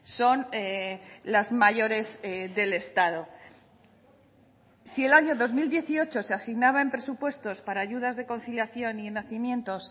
son las mayores del estado si el año dos mil dieciocho se asignaba en presupuestos para ayudas de conciliación y nacimientos